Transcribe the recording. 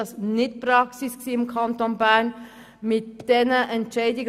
Bis jetzt war dies im Kanton Bern nicht Praxis.